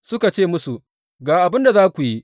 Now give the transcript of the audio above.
Suka ce musu, Ga abin da za ku yi.